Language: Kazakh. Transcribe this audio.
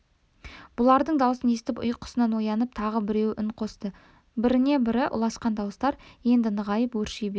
бұлардың даусын естіп ұйқысынан оянып тағы біреуі үн қосты біріне-бірі ұласқан дауыстар енді нығайып өрши берді